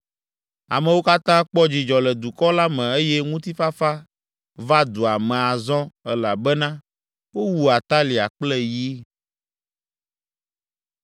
Amewo katã kpɔ dzidzɔ le dukɔ la me eye ŋutifafa va dua me azɔ elabena wowu Atalia kple yi.